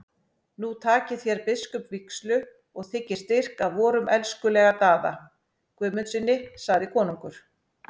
Nú takið þér biskupsvígslu og þiggið styrk af vorum elskulega Daða Guðmundssyni, sagði konungur.